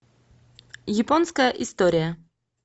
японская история